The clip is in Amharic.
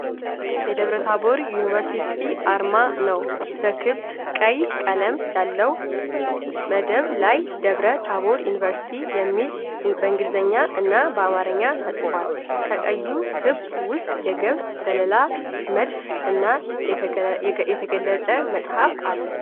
የደብረታቦር ዩኒቨርሲቲ አርማ ነው። በክብ ቀይ ቀለም ያለው መደብ ላይ ደብረ ታቦር ዩኒቨርሲቲ የሚል በእንግሊዝኛ እና በአማርኛ ተጽፏል። ከቀዩ ክብ ውስጥ የገብስ ዘለላ፣ መድፍ እና የተገለጠ መጽሐፍ አለ።